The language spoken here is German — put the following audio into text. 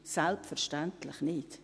Selbstverständlich nicht.